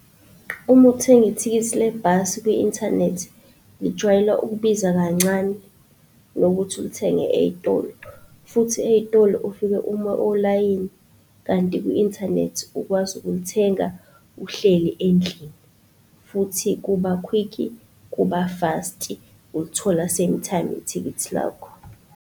Uma uthenga ithikithi lebhasi kwi-inthanethi lijwayela ukubiza kancane nokuthi ulithenge ey'tolo. Futhi ey'tolo ufike uma olayini kanti kwi-inthanethi ukwazi ukulithenga uhleli endlini futhi kuba-quick-i, kuba-fast-i ulithola same time ithikithi lakho.